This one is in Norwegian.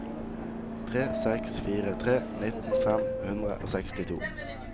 tre seks fire tre nitten fem hundre og sekstito